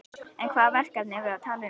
En hvaða verkefni er verið að tala um?